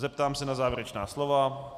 Zeptám se na závěrečná slova.